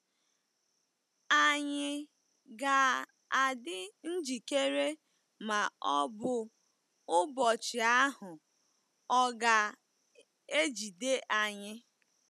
Ànyị ga-adị njikere ma ọ bụ ụbọchị ahụ ọ̀ ga-ejide anyị?